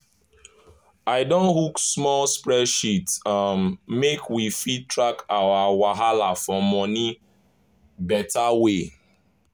i don hook small spreadsheet um make we fit track our wahala for money beta way.